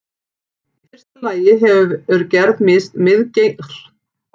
Í fyrsta lagi hefur gerð misgengisins sem veldur skjálftanum áhrif.